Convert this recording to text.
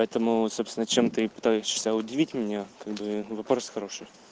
поэтому собственно чем ты питаешься удивить меня как бы вопрос хороший